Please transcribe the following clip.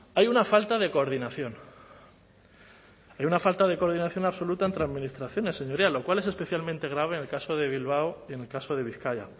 hay una falta de coordinación hay una falta de coordinación absoluta entre administraciones señorías lo cual es especialmente grave en el caso de bilbao y en el caso de bizkaia